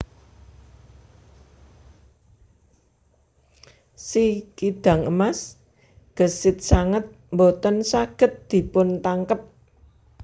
Si kidang emas gesit sanget boten saged dipuntangkep